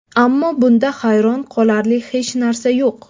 Ammo bunda hayron qolarli hech narsa yo‘q.